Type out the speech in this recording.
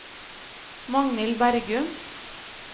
Magnhild Bergum